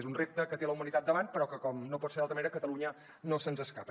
és un repte que té la humanitat davant però que com no pot ser d’una altra manera catalunya no se n’escapa